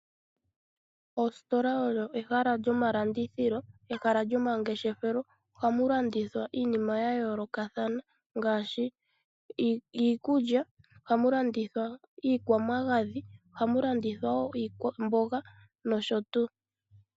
Oositola odho ehala lyomalandithilo, ehala lyomangeshefelo. Oha mu landithwa iinima ya yoolokathana ngaashi iikulya, iikwamagadhi, iikwamboga, nosho tuu.